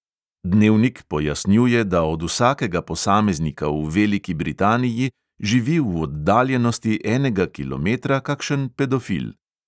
Dnevnik pojasnjuje, da od vsakega posameznika v veliki britaniji živi v oddaljenosti enega kilometra kakšen pedofil.